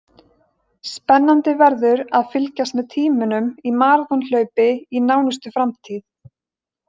Spennandi verður að fylgjast með tímunum í maraþonhlaupi í nánustu framtíð.